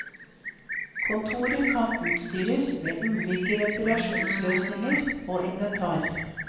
Kontoret kan utstyres med ulike ventilasjonsløsninger og inventar.